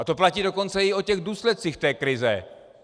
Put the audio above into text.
A to platí dokonce i o těch důsledcích té krize.